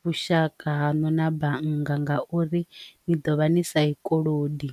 vhushaka hano na bannga nga uri ni ḓovha ni sa tshikolodo.